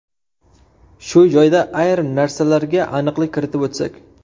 Shu joyda ayrim narsalarga aniqlik kiritib o‘tsak.